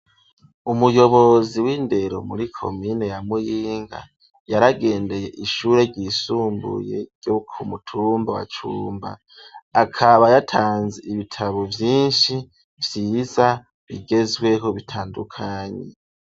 Umuyobozi w'indero muri komine ya muyinga, yaragendeye ishure ryisumbuye ryo ku mutumba wa cumba ,akaba yatanze ibitabo vyinshi vyiza bigezweho bitandukanye.